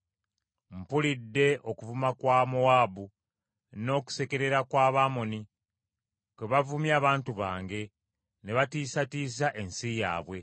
Mpulidde okuvuma kwa Mowaabu n’okusekerera kw’Abamoni kwe bavumye abantu bange ne batiisatiisa ensi yaabwe.